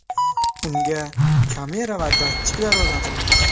Unga kamera va datchiklar o‘rnatilgan.